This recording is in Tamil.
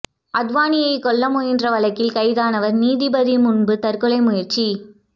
அத்வானியை கொல்ல முயன்ற வழக்கில் கைதானவர் நீதிபதி முன்பு தற்கொலை முயற்சி